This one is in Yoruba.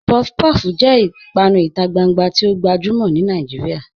Puff-puff jẹ̀ ìpànù ìtà gbàngbà tì o gbajumọ̀ ni Nàìjíríà